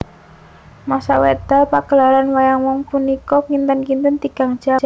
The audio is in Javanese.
Masa wekdal pagelaran wayang wong punika kinten kinten tigang jam